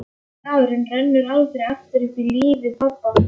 Fimmti dagurinn rennur aldrei aftur upp í lífi pabba.